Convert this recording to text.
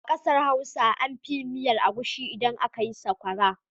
A ƙasar Hausa an fi yin miyar agushi idan aka yi sakwara.